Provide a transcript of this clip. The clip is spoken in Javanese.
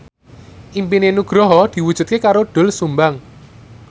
impine Nugroho diwujudke karo Doel Sumbang